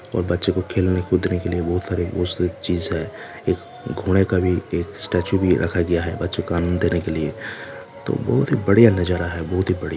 और बच्चों को खेलने कूदने के लिए बोहोत सारे बहुत से चीज़ है एक घोड़े का भी एक स्टेचू भी रखा गया है बच्चो आनंद देने के लिए तो बहुत ही बड़िया नज़ारा है। बहुत ही बड़िया--